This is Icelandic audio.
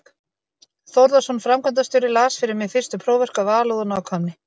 Þórðarson framkvæmdastjóri, las fyrir mig fyrstu próförk af alúð og nákvæmni.